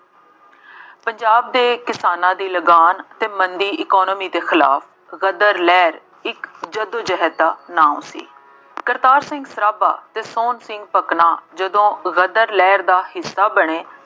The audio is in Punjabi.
ਪੰਜਾਬ ਦੇ ਕਿਸਾਨਾਂ ਦੀ ਲਗਾਨ ਅਤੇ ਮੰਦੀ economy ਦੇ ਖਿਲਾਫ ਗਦਰ ਲਹਿਰ ਇੱਕ ਜੱਦੋ-ਜਹਿਦ ਦਾ ਨਾਉਂ ਸੀ। ਕਰਤਾਰ ਸਿੰਘ ਸਰਾਭਾ ਅਤੇ ਸੋਹਣ ਸਿੰਘ ਭਕਨਾ ਜਦੋਂ ਗਦਰ ਲਹਿਰ ਦਾ ਹਿੱਸਾ ਬਣੇ,